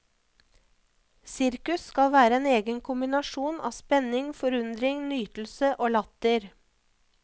Sirkus skal være en egen kombinasjon av spenning, forundring, nytelse og latter.